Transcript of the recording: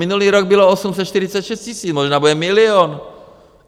Minulý rok bylo 846 000, možná bude milion.